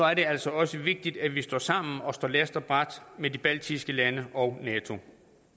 er det altså også vigtigt at vi står sammen og står last og brast med de baltiske lande og nato